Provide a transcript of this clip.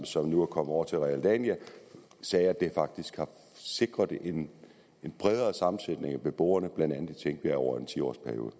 som nu er kommet over til realdania sagde at det faktisk har sikret en bredere sammensætning af beboere over en ti årsperiode